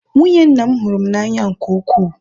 nwunye nna m hụrụ m n'anya nke ukwuu